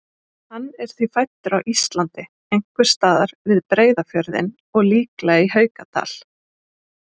Hann er því fæddur á Íslandi, einhvers staðar við Breiðafjörðinn og líklega í Haukadal.